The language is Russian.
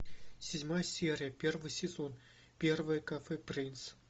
седьмая серия первый сезон первое кафе принц